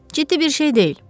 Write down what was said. Ciddi bir şey deyil."